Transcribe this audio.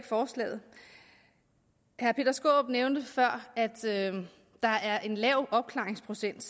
forslaget herre peter skaarup nævnte før at der er en lav opklaringsprocent